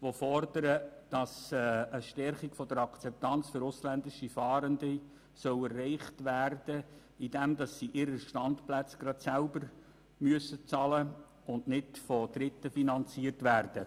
Diese fordern, die Stärkung der Akzeptanz für ausländische Fahrende sei zu erreichen, indem sie ihre Standplätze selber bezahlen sollen, sodass diese nicht von Dritten finanziert werden.